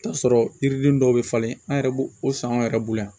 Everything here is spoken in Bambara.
Taa sɔrɔ yiriden dɔw bɛ falen an yɛrɛ b'o o san anw yɛrɛ bolo yan